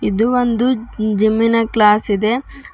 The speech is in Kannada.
ಇದು ಒಂದು ಜಿಮ್ಮಿನ ಕ್ಲಾಸ್ ಇದೆ.